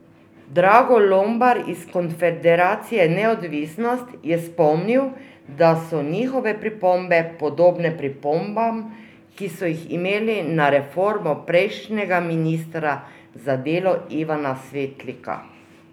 Drago Lombar iz konfederacije Neodvisnost je spomnil, da so njihove pripombe podobne pripombam, ki so ji imeli na reformo prejšnjega ministra za delo Ivana Svetlika.